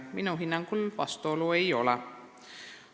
Minu hinnangul vastuolu ei ole.